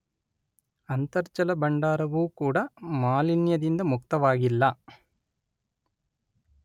ಅಂತರ್ಜಲ ಭಂಡಾರವೂ ಕೂಡ ಮಾಲಿನ್ಯದಿಂದ ಮುಕ್ತವಾಗಿಲ್ಲ.